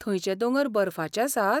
थंयचेे दोंगर बर्फाचे आसात?